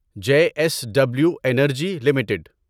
J S W energy limited